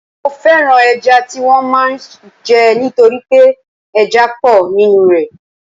Mo fẹ́ràn ẹja tí wọ́n máa ń jẹ nítorí pé ẹja pọ̀ nínú rẹ̀